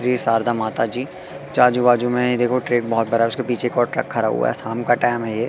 जय शारदा माता जी आजु बाजू मे ये देखो ट्रेक बहोत बड़ा उसके पीछे एक और ट्रक खड़ा हुआ शाम का टाइम है ये--